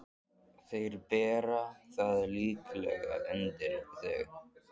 Þeir bera það líklega undir þig.